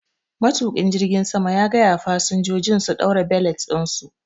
Matuƙin jirgin Ya gayawa fasinjojin su ɗaura belet ɗinsu.